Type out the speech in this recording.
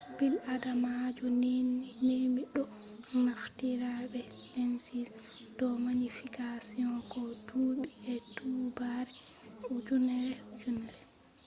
bil adamajo nemi ɗo naftira be lenses do magnification ko duɓi e duɓare ujineere ujineere